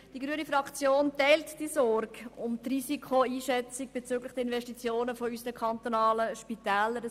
Die grüne Fraktion teilt die Sorge, was die Risikoeinschätzung bezüglich der Investitionen unserer kantonalen Spitäler anbelangt.